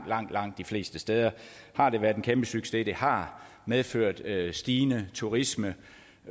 langt langt de fleste steder har været en kæmpesucces det har medført en stigende turisme